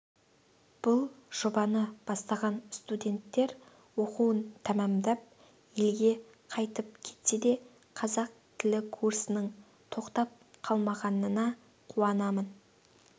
бұл жобаны бастаған студенттер оқуын тәмамдап елге қайтып кетсе де қазақ тілі курсының тоқтап қалмағанына қуанамын